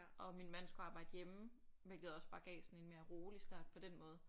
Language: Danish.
Og min mand skulle arbejde hjemme hvilket også bare gav sådan en mere rolig start på den måde